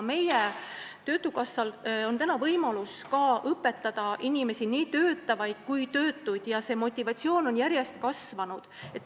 Töötukassal on täna võimalus ka õpetada inimesi, nii töötavaid kui ka töötuid, ja motivatsioon on järjest kasvanud.